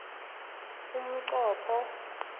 umnqopho